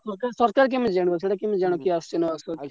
ନାଁ ନାଁ ସରକାର କେମିତି ଜାଣିବ ପିଲା ଆସିଛି କି ନାହିଁ ।